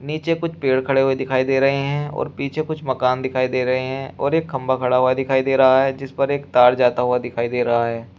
नीचे कुछ पेड़ खड़े हुए दिखाई दे रहे हैं और पीछे कुछ मकान दिखाई दे रहे हैं और एक खंभा खड़ा हुआ दिखाई दे रहा है जिस पर एक तार जाता हुआ दिखाई दे रहा है।